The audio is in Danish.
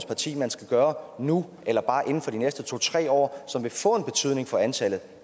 parti man skal gøre nu eller bare inden for de næste to tre år som vil få en betydning for antallet